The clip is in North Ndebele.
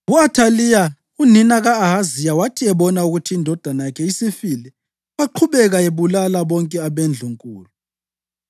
U-Athaliya unina ka-Ahaziya wathi ebona ukuthi indodana yakhe isifile, waqhubeka ebulala bonke abendlunkulu.